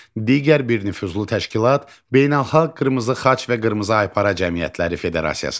Digər bir nüfuzlu təşkilat Beynəlxalq Qırmızı Xaç və Qırmızı Aypara Cəmiyyətləri Federasiyasıdır.